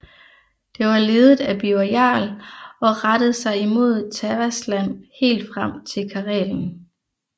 Det var ledet af Birger Jarl og rettede sig imod Tavastland helt frem til Karelen